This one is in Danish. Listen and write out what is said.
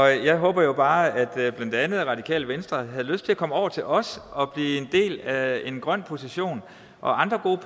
jeg håber jo bare at blandt andet radikale venstre havde lyst til at komme over til os og blive en del af en grøn position og at andre gode